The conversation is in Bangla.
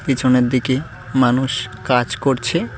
পিছনের দিকে মানুষ কাজ করছে।